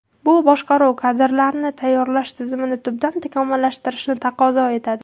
Bu boshqaruv kadrlarini tayyorlash tizimini tubdan takomillashtirishni taqozo etadi.